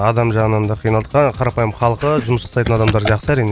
адам жағынан да қиналдық қарапайы халқы жұмыс жасайтын адамдары жақсы әрине